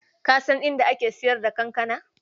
Ka san inda ake sayar da kankana?